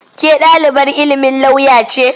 Ke ɗalibar ilimin lauya ce?